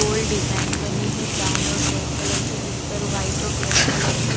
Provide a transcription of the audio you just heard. गोल design बनी है brown और ब्लैक कलर की जिस पर वाइट और ब्लैक कलर की--